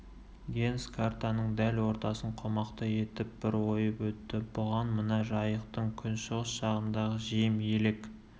генс картаның дәл ортасын қомақты етіп бір ойып өтті бұған мына жайықтың күншығыс жағындағы жем елек